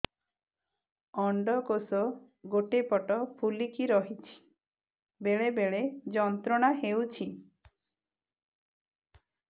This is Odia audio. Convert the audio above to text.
ଅଣ୍ଡକୋଷ ଗୋଟେ ପଟ ଫୁଲିକି ରହଛି ବେଳେ ବେଳେ ଯନ୍ତ୍ରଣା ହେଉଛି